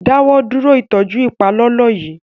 Dáwọ dúró ìtọjú ipalọlọ yí!